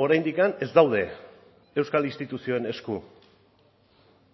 oraindik ez daude euskal instituzioen esku